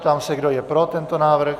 Ptám se, kdo je pro tento návrh.